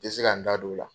N tɛ se ka n da don o la